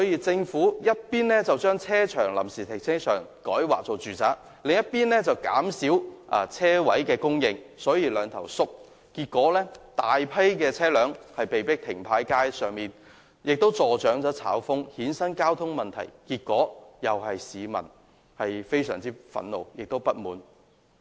政府這邊廂將臨時停車場改劃為住宅，那邊廂又減少車位的供應，形成"兩頭縮"，結果大批車輛被迫停泊在街上，這樣既助長"炒風"，亦衍生交通問題，結果令市民深感憤怒及不滿。